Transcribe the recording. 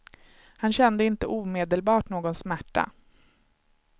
Han kände inte omedelbart någon smärta.